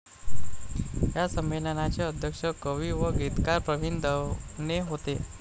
या संमेलनाचे अध्यक्ष कवी व गीतकार प्रवीण दवणे होते.